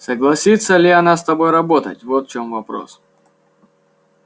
согласится ли она с тобой работать вот в чём вопрос